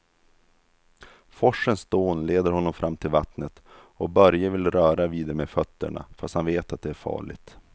Forsens dån leder honom fram till vattnet och Börje vill röra vid det med fötterna, fast han vet att det är farligt.